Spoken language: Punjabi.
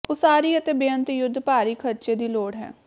ਉਸਾਰੀ ਅਤੇ ਬੇਅੰਤ ਯੁੱਧ ਭਾਰੀ ਖਰਚੇ ਦੀ ਲੋੜ ਹੈ